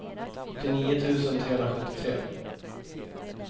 åttionio tusen trehundrasjuttiotre